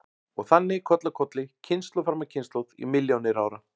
Og þannig koll af kolli, kynslóð fram af kynslóð í milljónir ára.